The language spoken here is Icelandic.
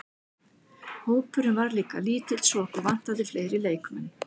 Hópurinn var líka lítill svo okkur vantaði fleiri leikmenn.